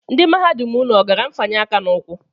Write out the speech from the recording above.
Ndị mahadum unu ọ gara mfanye aka n'ụkwụ?